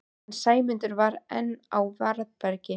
En Sæmundur var enn á varðbergi.